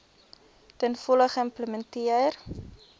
ten volle geïmplementeer